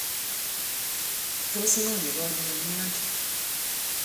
tos ng'o ko nyikonik eng' Nandi?